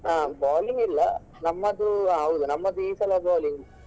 ಹಾ bowling ಇಲ್ಲ ನಮ್ಮದು ಆ ಹೌದು ನಮ್ಮದು ಈ ಸಲ bowling .